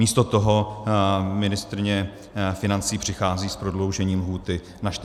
Místo toho ministryně financí přichází s prodloužením lhůty na 45 dní.